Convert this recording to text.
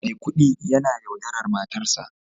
Maikudi yana yaudarar matarsa